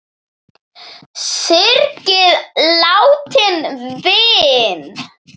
Syrgið látinn vin!